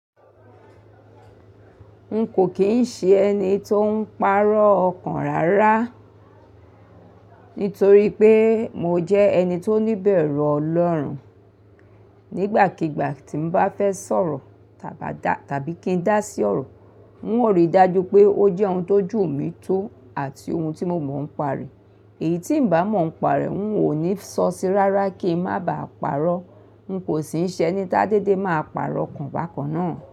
N kò kín ń ṣe ẹni tó ń pàrọ̀ ọkàn rárá, nítorí pé mo jẹ́ ẹni tó níbẹ̀ru Ọlọ́run. Nígbàkigbà tí n bá fẹ́ sọ̀rọ̀ tàbí kí n dá sí ọ̀rọ̀, n ó rí dájú pé ó jẹ́ ohun tó jù mí tó àti ohun tí mo mọ̀ ń pare. Èyí tí ń bá mọ̀ ń pa re, n ò ní sọ síi rárá kí ń má ba à pàrọ̀. N kò sì ń ṣe ẹni tá dédé máa pàrọ̀ kàn bákan náà.